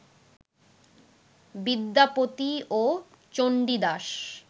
বিদ্যাপতি ও চন্ডীদাশ